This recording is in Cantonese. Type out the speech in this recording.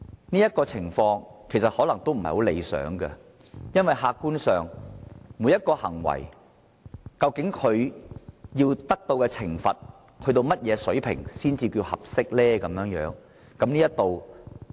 但這種情況其實可能不太理想，因為客觀上，究竟每種行為應處以何種水平的懲罰才算合適呢？